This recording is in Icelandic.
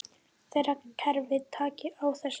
Þeirra kerfi taki á þessu.